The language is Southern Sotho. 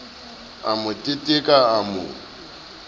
a mo teteka a mo